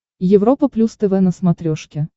европа плюс тв на смотрешке